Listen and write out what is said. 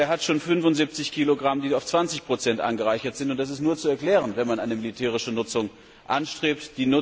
Aber er hat schon 75 kg, die auf 20 angereichert sind, und das ist nur zu erklären, wenn man eine militärische Nutzung anstrebt.